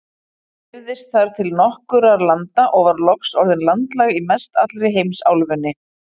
Hún dreifðist þar til nokkurra landa og var loks orðin landlæg í mestallri heimsálfunni.